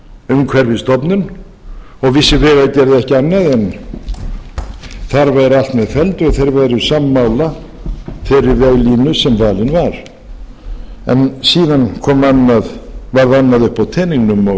umhverfisstofnun og vissi vegagerð ekki annað en þar væru allt með felldu og þeir væru sammála þeirri veglínu sem valin er en síðan varð annað uppi á teningnum og